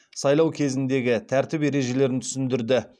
сайлау кезіндегі тәртіп ережелерін түсіндірді